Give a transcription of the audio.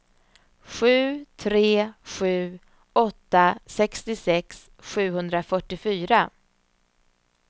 sju tre sju åtta sextiosex sjuhundrafyrtiofyra